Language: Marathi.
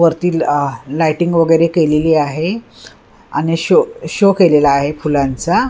वरती आह लायटिंग वगैरे केलेली आहे आणि शो शो केलेला आहे फुलांचा.